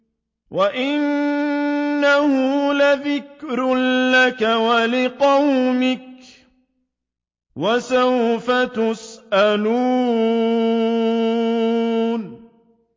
وَإِنَّهُ لَذِكْرٌ لَّكَ وَلِقَوْمِكَ ۖ وَسَوْفَ تُسْأَلُونَ